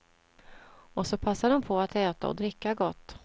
Och så passar de på att äta och dricka gott.